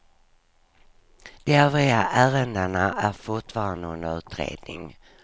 De övriga ärendena är fortfarande under utredning.